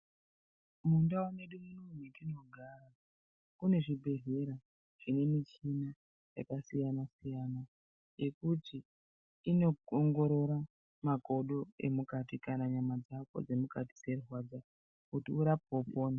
Muntau yatinogara kunezvibhelera zvine michini yakasiyana siyana yekuti yekuti inoongorora makodo kana nyama dzako dzemukati dzeirwadza kuti urapwe upone.